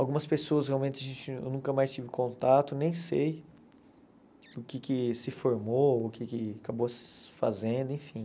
Algumas pessoas realmente eu nunca mais tive contato, nem sei o que que se formou, o que que acabou se fazendo, enfim.